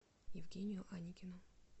евгению аникину